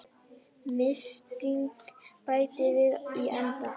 Mysingi bætt við í endann.